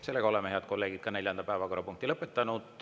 Head kolleegid, oleme ka neljanda päevakorrapunkti lõpetanud.